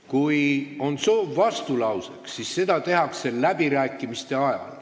Kui on soov vastulauseks, siis seda tehakse läbirääkimiste ajal.